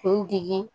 Kun digi